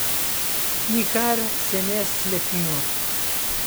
Nikar se ne slepimo.